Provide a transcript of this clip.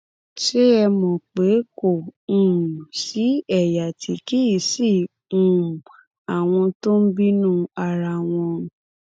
ṣé ẹ mọ pé kò um sí ẹyà tí kì í sí um àwọn tó ń bínú ara wọn